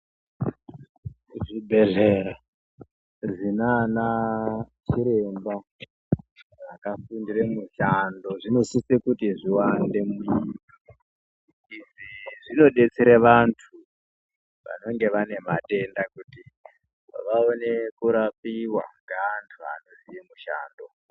Kuzvibhehlera zvinana chiremba akafundire mishando zvinosise kuti zviwande izvi zvinodetsere vantu vanenge vane madenda kuti vaone kurapiwa ngeanhu anoziye mushando.